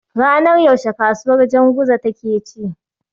Ranar yaushe kasuwar Janguza take ci?